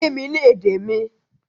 Kí mi ní èdè mi!